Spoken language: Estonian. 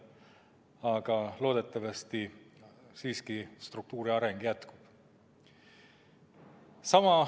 Aga loodetavasti struktuuri areng siiski jätkub.